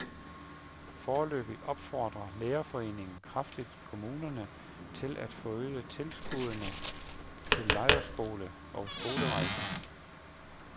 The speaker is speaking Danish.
Foreløbig opfordrer lærerforeningen kraftigt kommunerne til at forøge tilskuddene til lejrskoler og skolerejser.